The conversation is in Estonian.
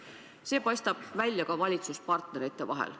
See paistab välja ka valitsuspartnerite seisukohtades.